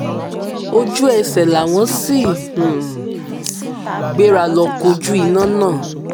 ojú ẹsẹ̀ làwọn sì um gbéra lọ kojú iná náà